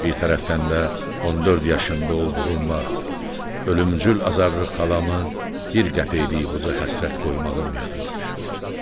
Bir tərəfdən də 14 yaşında olduğum vaxt ölümcül azarlı xalamı bir qəpiklik buza həsrət qoymağım yadıma düşür.